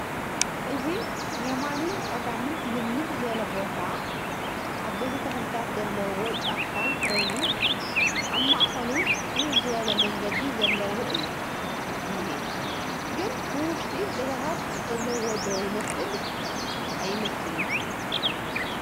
እዚ የማንን ፀጋምን ልምልም ዝበለ ቦታን ዓበይቲ ተኽልታት ዘለውዎ ጫካን ኮይኑ ኣብ ማእኸሉ ፅብብ ዝበለ መንገዲ ዘለዎ እዩ እንሄ ፡ ግን ብውሽጢ ገዛታት ዘለውዎ ዶ ይመስልስ ኣይመስልን ?